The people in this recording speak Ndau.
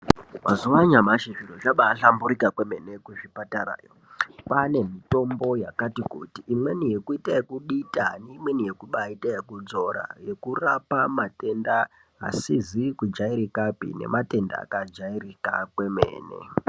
Mazuwa anyamashi zviro zvambaahlamburuka kwemene kuzvipatarayo kwaane mitombo yakati kuti, imweni yekuite okudita, imweni yekubaaite yekuzora yekurape matenda akajairika neasizi kujairikapi kwemene.